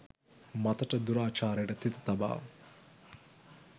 මතට දුරාචාරයට තිත තබා